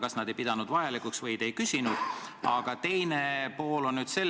Kas nad ei pidanud vajalikuks oma arvamust öelda või te ei küsinud seda?